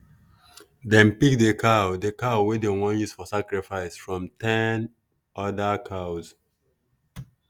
dem pick the cow the cow wey dem wan use sacrifice from ten other cows.